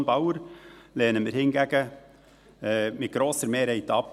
Die Motion Bauer lehnen wir hingegen mit grosser Mehrheit ab.